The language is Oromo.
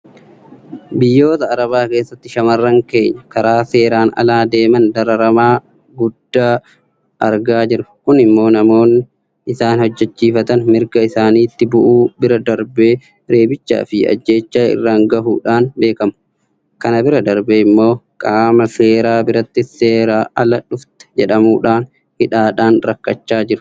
Biyyoota arabaa keessatti shaamarran keenya karaa seeraan alaa deeman dararama guddaa argaa jiru. Kun immoo namoonni isaan hojjechiifatan mirga isaaniitti bu'uu bira darbee reebichaafi ajjeechaa irraan gahuudhaan beekamu. Kana bira darbee immoo qaama seeraa birattis seeraan ala dhufte jedhamuudhaan hidhaadhaan rakkachaa jiru.